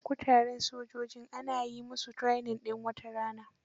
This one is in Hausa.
Kuratan sojojin ana yi musu training din wata tara.